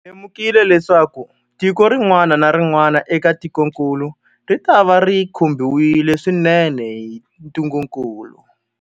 Hi lemukile leswaku tiko rin'wana na rin'wana eka tikokulu ritava ri khumbiwile swinene hi ntungukulu.